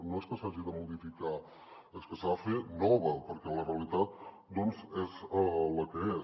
no és que s’hagi de modificar és que s’ha de fer nova perquè la realitat és la que és